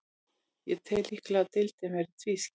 Ég tel líklegt að deildin verði tvískipt.